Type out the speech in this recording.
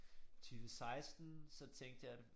20 16 så tænkte jeg det